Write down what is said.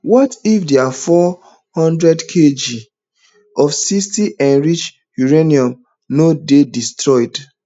what if dia four hundredkg of sixty enriched uranium no dey destroyed